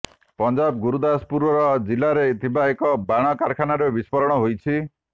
ପଞ୍ଜାବ ଗୁରୁଦାସପୁର ଜିଲ୍ଲାରେ ଥିବା ଏକ ବାଣ କାରଖାନାରେ ବିସ୍ଫୋରଣ ହୋଇଛି